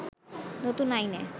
নতুন আইনে